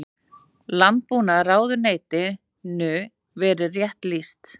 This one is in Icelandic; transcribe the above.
Landbúnaðarráðuneytinu verið rétt lýst.